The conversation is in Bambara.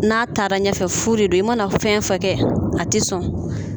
N'a taara nɛfɛ fu de do i mana fɛn fɛn kɛ a tɛ sɔn.